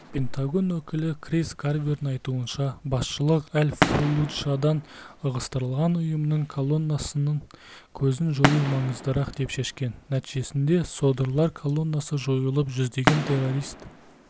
пентагон өкілі крис гарвердің айтуынша басшылық әл-фаллуджадан ығыстырылған ұйымының колоннасының көзін жою маңыздырақ деп шешкен нәтижесінде содырлар коллонасы жойылып жүздеген террорист